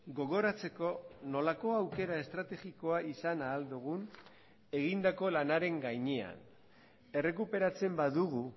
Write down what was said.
gogoratzeko nolako aukera estrategikoa izan ahal dugun egindako lanaren gainean errekuperatzen badugu